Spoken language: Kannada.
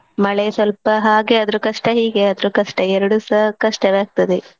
ಮಳೆ ಸ್ವಲ್ಪ ಹಾಗೆ ಆದ್ರೂ ಕಷ್ಟ ಹೀಗೆ ಆದ್ರೂ ಕಷ್ಟ ಎರ್ಡು ಸ ಕಷ್ಟವೇ ಆಗ್ತದೆ.